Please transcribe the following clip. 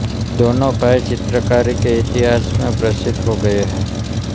दोनों भाई चित्रकारी के इतिहास में प्रसिद्ध हो गए हैं